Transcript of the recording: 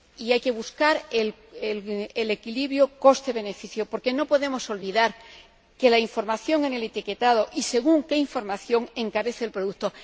Y hay que buscar el equilibrio coste beneficio, porque no podemos olvidar que la información en el etiquetado y según de qué información se trata encarece el producto.